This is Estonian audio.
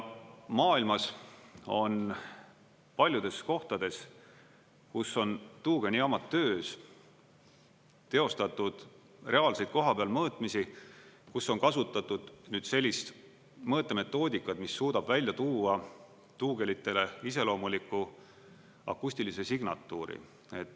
Maailmas on paljudes kohtades, kus on tuugenijaamad töös, teostatud reaalseid kohapeal mõõtmisi, kus on kasutatud sellist mõõtemetoodikat, mis suudab välja tuua tuugenitele iseloomuliku akustilise signatuuri.